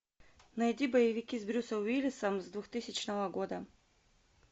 найди боевики с брюсом уиллисом с двухтысячного года